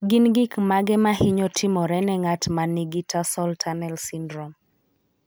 Gin gik mage ma hinyo timore ne ng'at ma nigi tarsal tunnel syndrome?